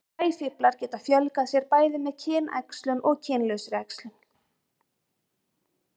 sæfíflar geta fjölgað sér bæði með kynæxlun og kynlausri æxlun